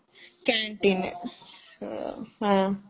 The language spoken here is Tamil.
கேன்டீன்னு